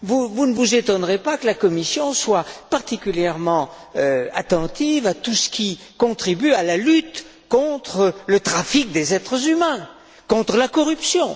Vous ne vous étonnerez pas que la Commission soit particulièrement attentive à tout ce qui contribue à la lutte contre le trafic des êtres humains et contre la corruption.